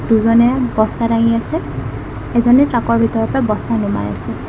দুজনে বস্তা দাঙি আছে এজনে ট্ৰাকৰ ভিতৰৰ পৰা বস্তা দমাই আছে।